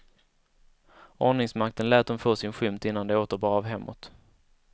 Ordningsmakten lät dem få sin skymt innan det åter bar av hemåt.